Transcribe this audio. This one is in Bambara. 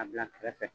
A bila kɛrɛfɛ